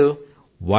ఇంకా చేయలేదు